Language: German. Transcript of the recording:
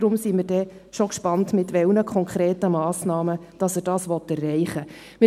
Deshalb sind wir schon gespannt, mit welchen konkreten Massnahmen er das erreichen will.